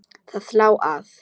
Það lá að.